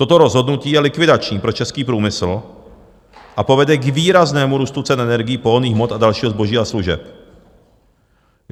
Toto rozhodnutí je likvidační pro český průmysl a povede k výraznému růstu cen energií, pohonných hmot a dalšího zboží a služeb.